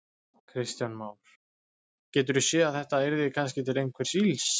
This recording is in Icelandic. Kristján Már: Geturðu séð að þetta yrði kannski til einhvers ills?